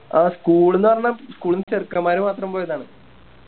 ആ School ന്ന് പറഞ്ഞ School ന്ന് ചെറുക്കൻമ്മാർ മാത്രം പോയതാണ്